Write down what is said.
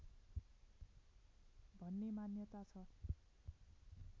भन्ने मान्यता छ